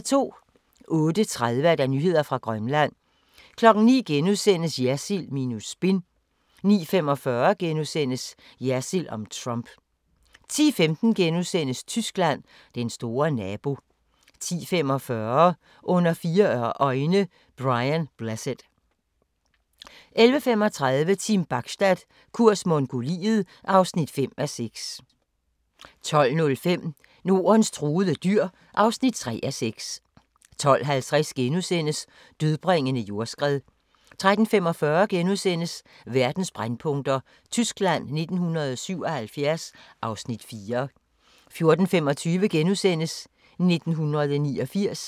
08:30: Nyheder fra Grønland 09:00: Jersild minus spin * 09:45: Jersild om Trump * 10:15: Tyskland: Den store nabo * 10:45: Under fire øjne – Brian Blessed 11:35: Team Bachstad – kurs Mongoliet (5:6) 12:05: Nordens truede dyr (3:6) 12:50: Dødbringende jordskred * 13:45: Verdens brændpunkter: Tyskland 1977 (Afs. 4)* 14:25: 1989 *